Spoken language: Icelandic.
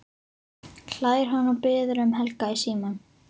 hlær hann og biður um Helga í símann.